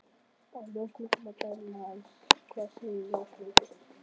Af ljósmynd að dæma. en hvað segja ljósmyndir?